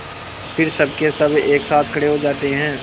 फिर सबकेसब एक साथ खड़े हो जाते हैं